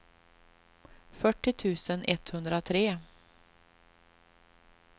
fyrtio tusen etthundratre